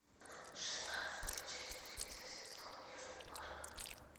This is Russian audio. шестнадцатая часть третьего сезона южный парк